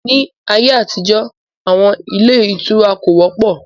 Ní ayé àtijọ́, àwọn ilé ìtura kò wọ́pọ̀